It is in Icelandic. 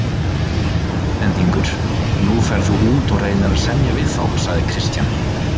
Þú ert Norðlendingur, nú ferð þú út og reynir að semja við þá, sagði Christian.